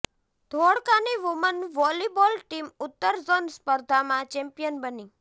ધોળકાની woman volleyball team ઉત્તર zone સ્પર્ધામાં champion બની